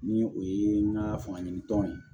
Ni o ye n ka fanga ɲini tɔn ye